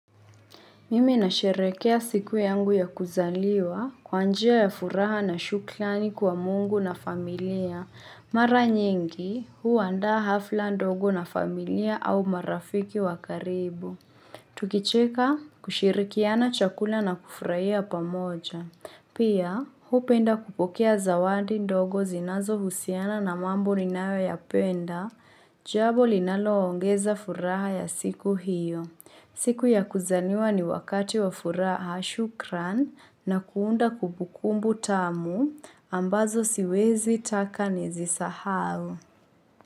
Mimi nasherehekea siku yangu ya kuzaliwa kwa njia ya furaha na shukrani kwa mungu na familia. Mara nyingi huuanda hafla ndogo na familia au marafiki wakaribu. Tukicheka kushirikiana chakula na kufurahia pamoja. Pia, hupenda kupokea zawadi ndogo zinazo husiana na mambo ninayo yapenda, jambo linaloongeza furaha ya siku hiyo. Siku ya kuzaliwa ni wakati wa furaha shukran na kuunda kubukumbu tamu ambazo siwezi taka nizisahau.